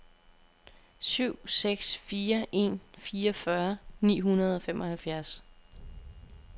syv seks fire en fireogfyrre ni hundrede og femoghalvfjerds